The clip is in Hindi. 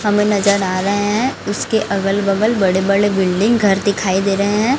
हमें नजर आ रहे हैं इसके अगल बगल बड़े बड़े बिल्डिंग घर दिखाई दे रहे हैं।